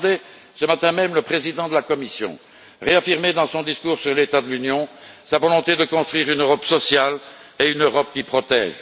J'entendais ce matin même le président de la Commission réaffirmer, dans son discours sur l'état de l'Union, sa volonté de construire une Europe sociale et une Europe qui protège.